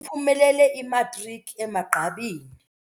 Uphumelele imatriki emagqabini.